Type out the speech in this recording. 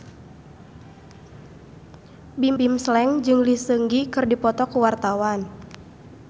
Bimbim Slank jeung Lee Seung Gi keur dipoto ku wartawan